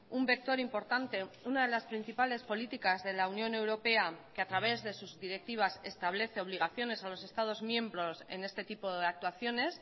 un vector importante una de las principales políticas de la unión europea que a través de sus directivas establece obligaciones a los estados miembros en este tipo de actuaciones